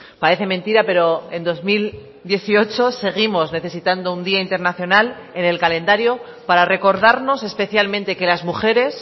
parece mentira pero en dos mil dieciocho seguimos necesitando un día internacional en el calendario para recordarnos especialmente que las mujeres